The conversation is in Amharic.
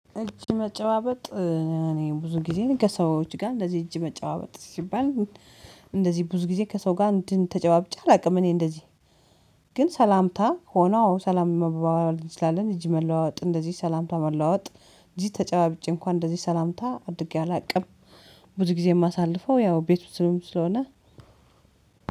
እጅ መጨባበጥ፤ እኔ ብዙ ጊዜ ከሰዎች ጋር እንደዚህ እጅ መጨባበጥ፤ ሲባል እንደዚህ ብዙ ጊዜ ከሰው ጋር እንትን ተጨባብጬ አላውቅም። እኔ እንደዚህ ግን ሰላምታ ሆኖ ሰላም መባባል እንችላለን። እጅ መለዋወጥ እንደዚህ ሰላምታ መለዋወጥ እጅ ተጨባብጬ እንኳን እንደዚህ ሰላምታ አድርጌ አላውቅም። ብዙ ጊዜ የማሳልፈው ያው ቤቱ ወስጥም ስለሆነ